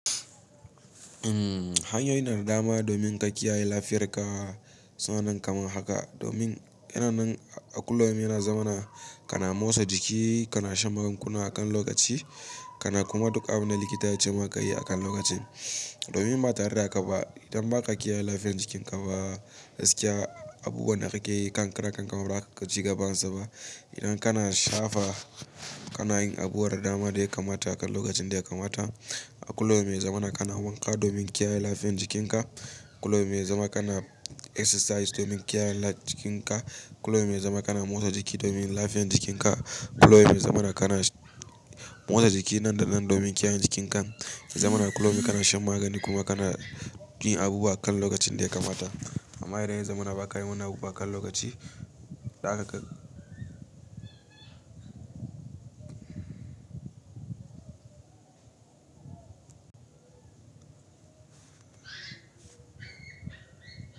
Hanyoyi na da dama domin ka kiyaye lafiyar ka. Suna'nan kamar haka domin kana nan a kullum yana zama na kana motsa jiki, kana shan magunguna akan lokaci, kana kuma duk abin da likita ya ce maka yi akan lokacin. Domin ba tare da ka ba, idan ba ka kiyaye lafiyar jikin ka ba, gaskiya abubuwan da kake yi kan karan kan ka ba, za ka ga ciga bansa ba. Idan kana shafa kana yin abubuwan da dama da ya kamata akan lokacin da ya kamata. A kullum yana zama na kana wanka domin kiyaye lafiyar jikin ka. Kullum yana zama kana exercise domin kiyaye lafiyar jikin ka. Kullum yana zama kana motsa jiki domin lafiyar jikin ka. Kullum yana zama na kana motsa jiki nan da nan domin kiyaye jikin kan. Yana zama na kullum kana shan magani kuma kana yin abubuwa akan lokacin da ya kamata. Amma idan ya zama na ba ka yi wannan abubuwa akan lokaci, da haka ka.